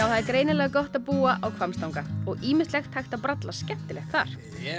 það er greinilega gott að búa á Hvammstanga og ýmislegt hægt að bralla skemmtilegt þar